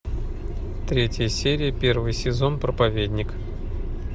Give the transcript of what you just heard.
третья серия первый сезон проповедник